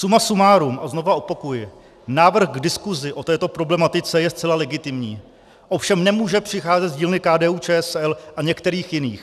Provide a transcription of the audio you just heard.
Suma sumárum, a znova opakuji, návrh k diskusi o této problematice je zcela legitimní, ovšem nemůže přicházet z dílny KDU-ČSL a některých jiných.